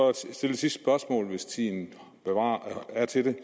sidste spørgsmål hvis tiden er til det